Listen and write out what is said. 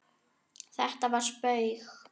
Þetta var spaug